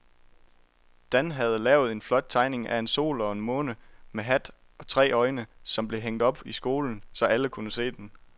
Dan havde lavet en flot tegning af en sol og en måne med hat og tre øjne, som blev hængt op i skolen, så alle kunne se den.